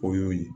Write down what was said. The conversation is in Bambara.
O y'o ye